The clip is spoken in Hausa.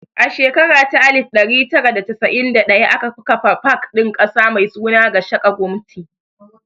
A shekara ta alif ɗari tara da casa'in da ɗaya aka kafa pak ɗin ƙasa mai suna 'Gashaka Gumti'.